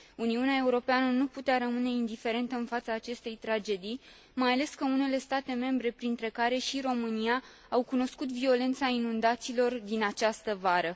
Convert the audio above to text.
Uniunea Europeană nu putea rămâne indiferentă în fața acestei tragedii, mai ales că unele state membre, printre care și România, au cunoscut violența inundațiilor din această vară.